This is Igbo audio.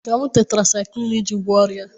Ị ga-aṅụ tetrasaịkịlịn iji gwọọ ọrịa a